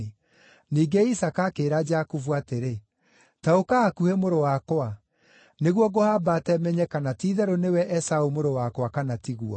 Ningĩ Isaaka akĩĩra Jakubu atĩrĩ, “Ta ũka hakuhĩ mũrũ wakwa, nĩguo ngũhambate menye kana ti-itherũ nĩwe Esaũ mũrũ wakwa kana tiguo.”